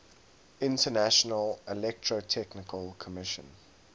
international electrotechnical commission